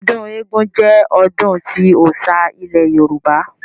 Ọdún eégún jẹ́ ọdún tí ọ́ṣá ilẹ̀ Yorùbá